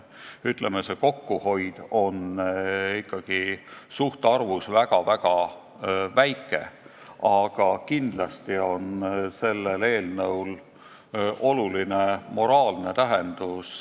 Ütleme, et see kokkuhoid on suhtarvus väga-väga väike, aga kindlasti on sellel eelnõul oluline moraalne tähendus.